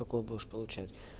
какое будешь получать